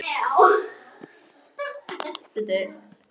Þetta var notaleg samvera gegnum símann.